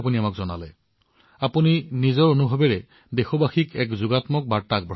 আপুনিআপোনাৰ নিজৰ অভিজ্ঞতাৰ পৰা কৈছে নিশ্চিতভাৱে দেশবাসীৰ বাবে ই ইতিবাচকত বাৰ্তা হব